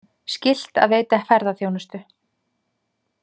Skylt að veita ferðaþjónustu